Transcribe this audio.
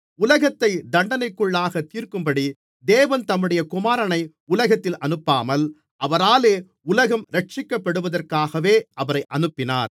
உலகத்தை தண்டனைக்குள்ளாகத் தீர்க்கும்படி தேவன் தம்முடைய குமாரனை உலகத்தில் அனுப்பாமல் அவராலே உலகம் இரட்சிக்கப்படுவதற்காகவே அவரை அனுப்பினார்